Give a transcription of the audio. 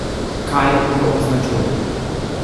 Kaj jo označuje?